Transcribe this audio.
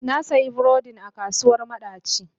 Na sayi burodin a kasuwar madaci.